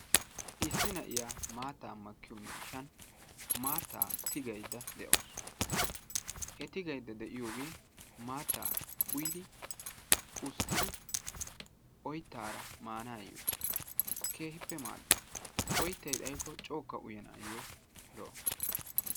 Issi na'iya maattaa makkiyo miishshan maattaa tigayidda de'awusu. He tigayidda de'iyoogee maatta uyidi usttidi oyittaara maanaayyo keehippe maaddes. Oyittay xayikko cookka uyanaayyoo lo'o.